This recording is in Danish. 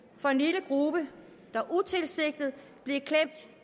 for en lille gruppe der utilsigtet